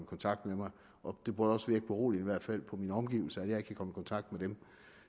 kontakt med mig og det burde virke beroligende på mine omgivelser at jeg ikke i kontakt med dem